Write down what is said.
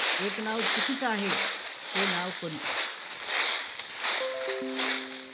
एक नाव चुकीचं आहे. ते नाव कोणतं?